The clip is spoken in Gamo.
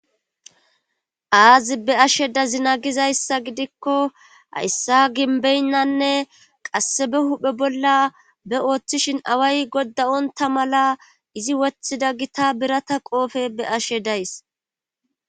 Aazi be ashe dazina gizayssa gidikko hayssa ginbeynnanne qasse be huphe bolla be ooththishin away godda onta mala izi woththida gita birata qoofe be ashe days.